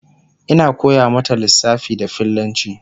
Ina koya mata lissafa da fillanci